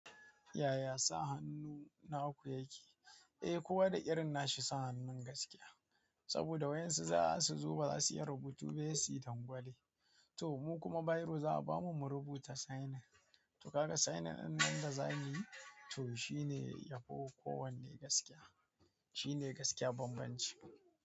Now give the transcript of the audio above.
Yaya sa hannu na naku yake? Eh, ko wa da irin na shi sa hannun gaskiya. Saboda waƴan su zo su zo ba za su iya rubutu ba, sai suyi dangwale. To mu kuma bairo za a bamu mu rubuta signing. To kaga signing ɗin nan da zamuyi to shine yafi kowanne gaskiya. Shine gaskiya banbanci.